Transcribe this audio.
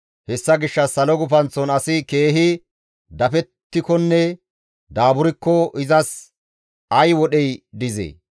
Hessa gishshas salo gufanththon asi keehi dafettikonne daaburkko izas ay wodhey dizee?